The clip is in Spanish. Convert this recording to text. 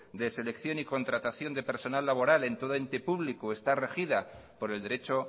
de selección y contratación de personal laboral en todo ente público está regida por el derecho